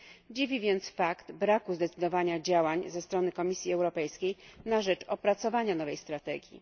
Dziwi więc fakt, że brak zdecydowanych działań ze strony Komisji Europejskiej na rzecz opracowania nowej strategii.